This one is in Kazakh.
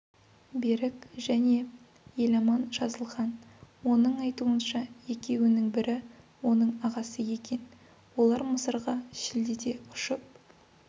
берік және еламан жазылхан оның айтуынша екеуінің бірі оның ағасы екен олар мысырға шілдеде ұшып